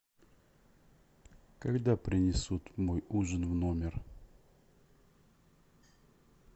когда принесут мой ужин в номер